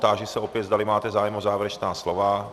Táži se opět, zdali máte zájem o závěrečná slova.